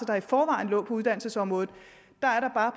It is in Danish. der i forvejen lå på uddannelsesområdet